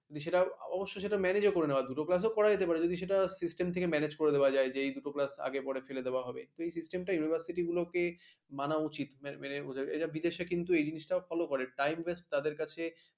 সেটা অবশ্য সেটা ম্যানেজ করানো যাবে দুটো class করা যেতে পারে আর যদি সেটা system থেকে manage করে দেওয়া যায় যে দুটো class আগে পরে ফেলে দেওয়া হবে কিন্তু system টা university গুলোকে মানা উচিত মানে বোঝা, বিদেশে কিন্তু এই জিনিসটা flow করে time waste তাদের কাছে,